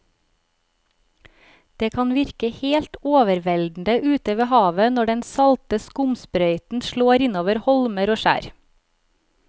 Det kan virke helt overveldende ute ved havet når den salte skumsprøyten slår innover holmer og skjær.